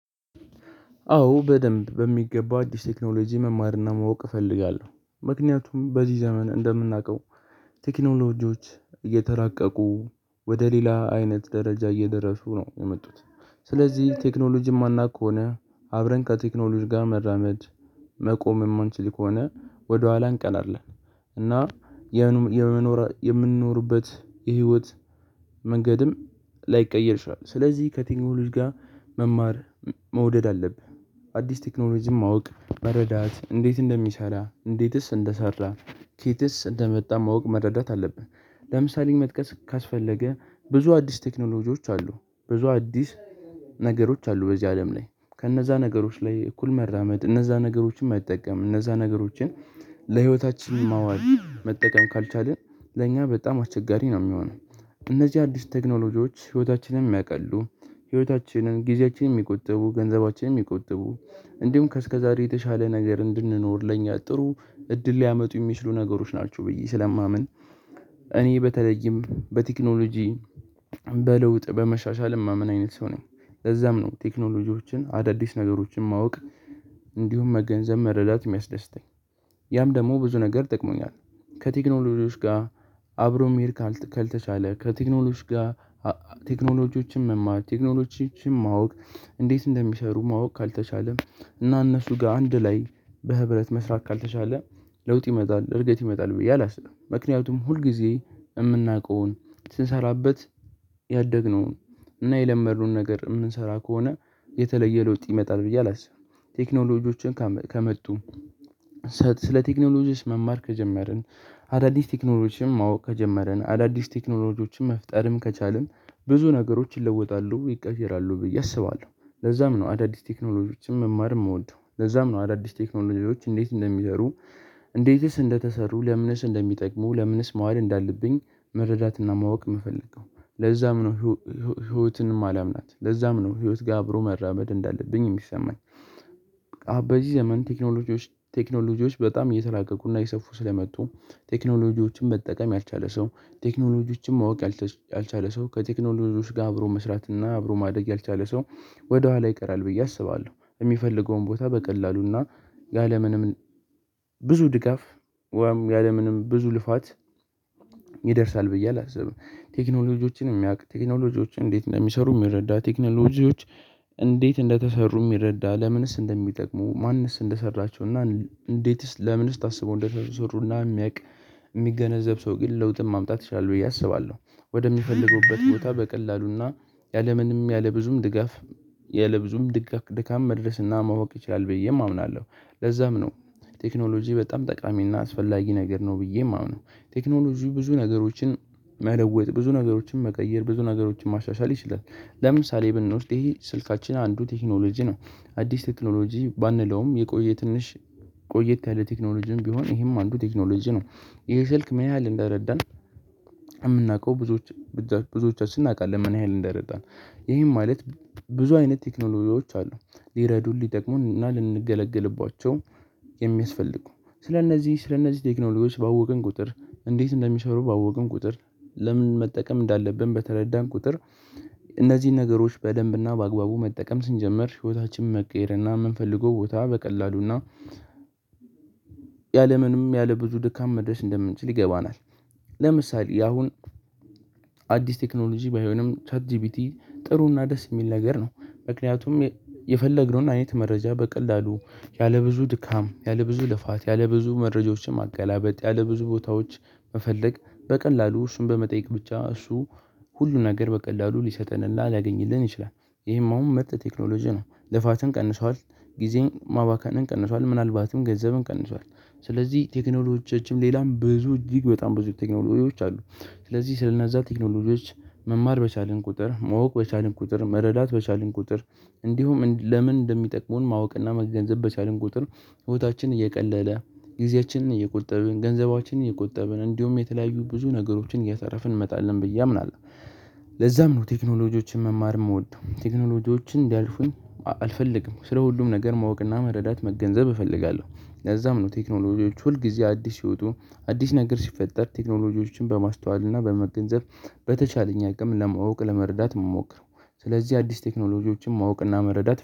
አዎ በደንብ በሚገባ አዲስ ቴክኖሎጂ መማርና ማወቅ እፈልጋለሁ ምክንያቱም በዚህ ዘመን እንደምናቀው ቴክኖሎጂዎች እየተራቀቁ ወደ ሌላ አይነት ደረጃ እየደረሱ ነው የመጡት። ስለዚህ ቴክኖሎጂ የማናውቅ ከሆነ አብረን ከቴክኖሎጂ ጋር መራመድ መቆም የማንችል ከሆነ ወደኋላ እንቀራለን። እና የምንኖርበት የህይወት መንገድም ላይቀየር ይችላል። ስለዚህ ከቲክኖሎጂ ጋር መማር መውደድ አለብህ አዲስ ቴክኖሎጂም ማወቅ መረዳት እንዴት እንደሚሰራ እንዴትስ እንደሰራ ኬትስ እንደመጣ ማወቅ መረዳት አለብህ። ለምሳሌ መጥቀስ ካስፈለገ ብዙ አዲስ ቴክኖሎጂዎች አሉ ብዙ አዲስ ነገሮች አሉ። በዚህ አለም ላይ ከእነዛ ነገሮች ላይ እኩል መራመድ እነዛ ነገሮችን መጠቀም እነዛ ነገሮችን ለህይወታችን ማዋል መጠቀም ካልቻልን ለእኛ በጣም አቸጋሪ ነው የሚሆነው። እነዚህ አዲስ ቴክኖሎጂዎች ህይወታችንን የሚያቀሉ ህይወታችንን ጊዜያችንን የሚቆጥቡ ገንዘባችንን የሚቆጥቡ እንዲሁም ከእስከዛሬ የተሻለ ነገር እንድንኖር ለኛ ጥሩ እድል ሊያመጡ የሚችሉ ነገሮች ናቸው ብዬ ስለማምን። እኔ በተለይም በቴክኖሎጂ በለውጥ በመሻሻልም ማምን አይነት ሰው ነኝ። ለዛም ነው ቴክኖሎጂዎችን አዳዲስ ነገሮችን ማወቅ እንዲሁም መገንዘብ መረዳት የሚያስደስተኝ ያም ደግሞ ብዙ ነገር ጠቅሞኛል። ከቴክኖሎጂዎች ጋር አብሮ መሄድ ካልተቻለ ከቴክኖሎጂ ጋር ቴክኖሎጂዎችን መማር ቴክኖሎጂዎችን ማወቅ እንዴት እንደሚሰሩ ማወቅ ካልተቻለም እና እነሱ ጋር አንድ ላይ በህብረት መስራት ካልተቻለ ለውጥ ይመጣል እድገት ይመጣል ብዬ አላስብም። ምክንያቱም ሁልጊዜ የምናውቀውን ስንሰራበት ያደግነውን እና የለመድነውን ነገር የምንሰራ ከሆነ የተለየ ለውጥ ይመጣል ብዬ አላስብም። ቴክኖሎጂዎችን ከመጡ ስለ ቴክኖሎጂ መማር ከጀመርን አዳዲስ ቴክኖሎጂ ማወቅ ከጀመርን አዳዲስ ቴክኖሎጂዎችን መፍጠርም ከቻልን ብዙ ነገሮችን ይለወጣሉ ይቀየራሉ ብዬ አስባለሁ። ለዛም ነው አዳዲስ ቴክኖሎጂዎችን መማር የምወደው ለዛም ነው አዳዲስ ቴክኖሎጂዎች እንዴት እንደሚሰሩ? እንዴትስ እንደተሰሩ ለምንስ እንደሚጠቅሙ ለምንስ መዋል እንዳለብኝ መረዳትና ማወቅ የምፈልገው ለዛም ነው። ህይወትንም እማላምናት ለዛም ነው ህይወት ጋር አብሮ መራመድ እንዳለብኝ የሚሰማኝ። በዚህ ዘመን ቴክኖሎጂዎች ቴክኖሎጂዎች በጣም እየተራቀቁና እየሰፉ ስለመጡ ቴክኖሎጂዎችን መጠቀም ያልቻለ ሰው ቴክኖሎጂዎችን ማወቅ ያልቻለ ሰው ከቴክኖሎጂዎች ጋር አብሮ መስራት እና አብሮ ማደግ ያልቻለ ሰው ወደኋላ ይቀራል ብዬ አስባለሁ። የሚፈልገውን ቦታ በቀላሉና ያለምንም ስለ ቴክኖሎጂ መማር ከጀመርን አዳዲስ ቴክኖሎጂ ማወቅ ከጀመርን አዳዲስ ቴክኖሎጂዎችን መፍጠርም ከቻልን ብዙ ነገሮችን ይለወጣሉ ይቀየራሉ ብዬ አስባለሁ። ለዛም ነው አዳዲስ ቴክኖሎጂዎችን መማር የምወደው ይደርሳል ብዬ አላስብም። ቴክኖሎጂዎችን የሚያውቅ ቴክኖሎጂዎችን እንዴት እንደሚሰሩ የሚረዳ ቴክኖሎጂዎች እንዴት እንደተሰሩ የሚረዳ ለምንስ እንደሚጠቅሙ ማንስ እንደሰራችው እና እንዴትስ ለምን ስታስበው እንደተሰሩና የሚያውቅ የሚገነዘብ ሰው ግን ለውጥም ማምጣት ይችላል ብዬ አስባለሁ። ወደሚፈልጉበት ቦታ በቀላሉና ያለምንም ያለብዙም ድጋፍ ያለብዙም ድካም መድረስና ማወቅ ይችላል ብዬም አምናለሁ። ለዛም ነው ቴክኖሎጂ በጣም ጠቃሚና አስፈላጊ ነገር ነው ብዬ የማምነው። ቴክኖሎጂው ብዙ ነገሮችን መለወጥ ብዙ ነገሮችን መቀየር ብዙ ነገሮችን ማሻሻል ይችላል። ለምሳሌ ብንወስድ ይሄ ስልካችን አንዱ ቴክኖሎጂ ነው። አዲስ ቴክኖሎጂ ባንለውም የቆየ ትንሽ ቆየት ያለ ቴክኖሎጂም ቢሆን ይሄም አንዱ ቴክኖሎጂ ነው። ይሄ ስልክ ምን ያህል እንደረዳን የምናውቀው ብዙዎች ብዙዎቻችን እናውቃለን ምን ያህል እንደረዳን። ይሄም ማለት ብዙ አይነት ቴክኖሎጂዎች አሉ። ሊረዱን ሊጠቅሙን እና ልንገለግልባቸው የሚያስፈልጉ ስለእነዚህ ስለእነዚህ ቴክኖሎጂዎች ባወቅን ቁጥር እንዴት እንደሚሰሩ ባወቅን ቁጥር ለምን መጠቀም እንዳለብን በተረዳን ቁጥር እነዚህን ነገሮች በደንብና በአግባቡ መጠቀም ስንጀምር ህይወታችንን መቀየር እና የምንፈልገው ቦታ በቀላሉ እና ያለምንም ያለብዙ ድካም መድረስ እንደምንችል ይገባናል። ለምሳሌ ያሁን አዲስ ቴክኖሎጂ ባይሆንም ቻት ጂቢቲ ጥሩና ደስ የሚል ነገር ነው። ምክንያቱም የፈለግነውን አይነት መረጃ በቀላሉ ያለብዙ ድካም ያለብዙ ልፋት ያለብዙ መረጃዎችን ማገላበጥ ያለ ብዙ ቦታዎች መፈለግ በቀላሉ እሱን በመጠየቅ ብቻ እሱ ሁሉ ነገር በቀላሉ ሊሰጠንና ሊያገኝልን ይችላል ይሄማውም ምርጥ ቴክኖሎጂ ነው። ልፋትን ቀንሷል። ጊዜን ማባካንን ቀንሷል ምናልባትም ገንዘብን ቀንሷል። ስለዚህ ቴክኖሎጂዎቻችንም ሌላም ብዙ እጅግ በጣም ብዙ ቴክኖሎች አሉ። ስለዚህ ስለነዛ ቴክኖሎች መማር በቻልን ቁጥር መውቅ በቻልን ቁጥር መረዳት በቻልን ቁጥር እንዲሁም ለምን እንደሚጠቅሙን ማወቅና መገንዘብ በቻልን ቁጥር ህይወታችን እየቀለለ ጊዜያችንን እየቆጠብን ገንዘባችንን እየቆጠብን እንዲሁም የተለያዩ ብዙ ነገሮችን እያተረፍን እንመጣለን ብዬ አምናለሁ። ለዛም ነው ቴክኖሎጂዎችን መማር የምወደው ቴክኖሎጂዎችን እንዲያልፉኝ አልፈልግም ስለ ሁሉም ነገር ማወቅና መረዳት መገንዘብ እፈልጋለሁ። ለዛም ነው ቴክኖሎጂዎች ሁል ጊዜ አዲስ ሲወጡ አዲስ ነገር ሲፈጠር ቴክኖሎጂዎችን በማስተዋል እና በመገንዘብ በተቻለኝ አቅም ለማወቅ ለመረዳት የምሞክር ስለዚህ አዲስ ቴክኖሎጂዎችን ማወቅና መረዳት